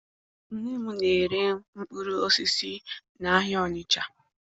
Nne m na-ere mkpụrụ osisi n'ahịa Ọnịcha